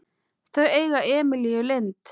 Þau eiga Emilíu Lind.